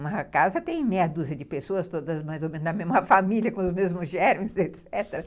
Uma casa tem meia dúzia de pessoas, todas mais ou menos da mesma família, com os mesmos germes, etecetera.